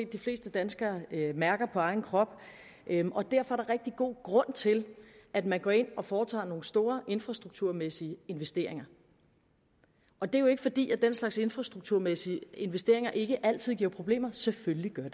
de fleste danskere mærker på egen krop derfor er der god grund til at man går ind og foretager nogle store infrastrukturmæssige investeringer og det er jo ikke fordi den slags infrastrukturmæssige investeringer ikke altid giver problemer selvfølgelig gør